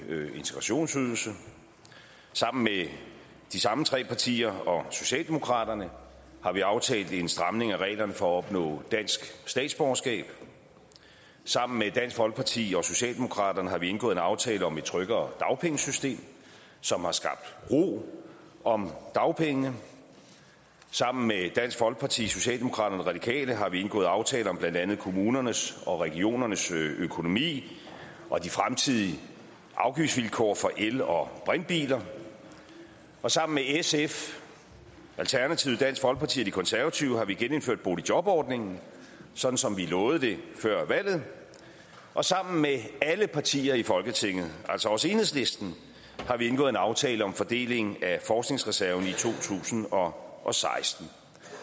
integrationsydelse sammen med de samme tre partier og socialdemokraterne har vi aftalt en stramning af reglerne for at opnå dansk statsborgerskab sammen med dansk folkeparti og socialdemokraterne har vi indgået en aftale om et tryggere dagpengesystem som har skabt ro om dagpengene sammen med dansk folkeparti socialdemokraterne og radikale har vi indgået aftale om blandt andet kommunernes og regionernes økonomi og de fremtidige afgiftsvilkår for el og brintbiler og sammen med sf alternativet dansk folkeparti og de konservative har vi genindført boligjobordningen sådan som vi lovede det før valget og sammen med alle partier i folketinget altså også enhedslisten har vi indgået en aftale om fordeling af forskningsreserven i to tusind og og seksten